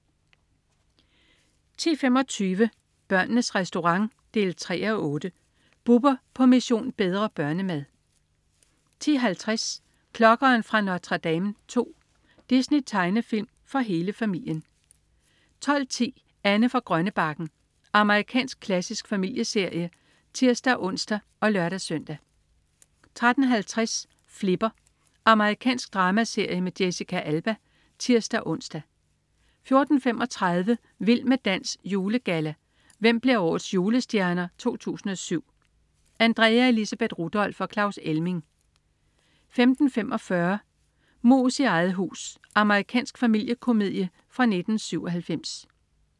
10.25 Børnenes Restaurant 3:8. Bubber på "Mission: Bedre børnemad" 10.50 Klokkeren fra Notre Dame II. Disney-tegnefilm for hele familien 12.10 Anne fra Grønnebakken. Amerikansk klassisk familieserie (tirs-ons og lør-søn) 13.50 Flipper. Amerikansk dramaserie med Jessica Alba (tirs-ons) 14.35 Vild med dans. Julegalla. Hvem bliver Årets Julestjerner 2007? Andrea Elisabeth Rudolph og Claus Elming 15.45 Mus i eget hus. Amerikansk familiekomedie fra 1997